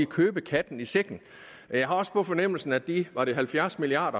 købe katten i sækken jeg har også på fornemmelsen at de var det halvfjerds milliard